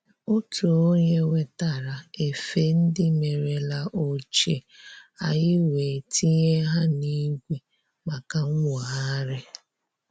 Otu onye wetara efe ndị merela ochie, anyị wee tinye ha n'igwe maka nwogharị